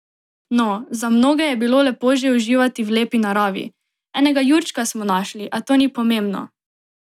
No, za mnoge je bilo lepo že uživati v lepi naravi: "Enega jurčka smo našli, a to ni pomembno.